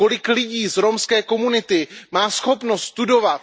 Kolik lidí z romské komunity má schopnost studovat?